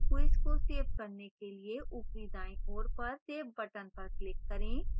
quiz को save करने के लिए ऊपरी दायीं ओर पर save button पर click करें